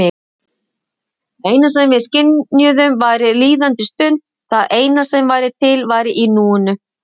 Það eina sem við skynjuðum væri líðandi stund, það eina sem væri til væri núið.